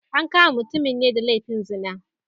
An kama mutumin ne da laifin zina